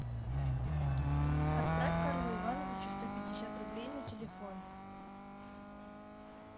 отправь карлу ивановичу сто пятьдесят рублей на телефон